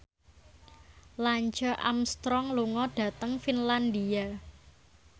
Lance Armstrong lunga dhateng Finlandia